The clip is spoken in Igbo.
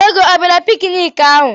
Ego ọ bịara pikiniki ahụ?